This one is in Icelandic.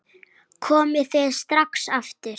Komið þið strax aftur!